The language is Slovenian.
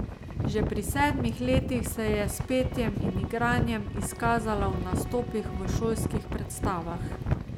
Že pri sedmih letih se je s petjem in igranjem izkazala v nastopih v šolskih predstavah.